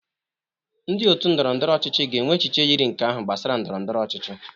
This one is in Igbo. Ndị otu ndọrọ ndọrọ ọchịchị ga-enwe echiche yiri nke ahụ gbasara ndọrọ ndọrọ ọchịchị